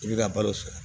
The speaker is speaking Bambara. I bɛ ka balo sɔrɔ